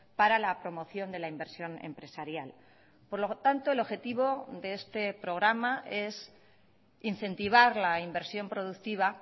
para la promoción de la inversión empresarial por lo tanto el objetivo de este programa es incentivar la inversión productiva